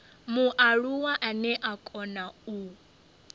mualuwa ane a kona u